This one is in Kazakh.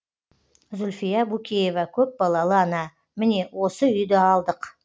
зүлфия букеева көпбалалы ана міне осы үйді алдық